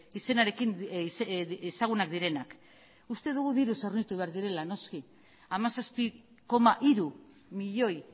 izenarekin ezagunak direnak uste dugu diruz hornitu behar direla noski hamazazpi koma hiru milioi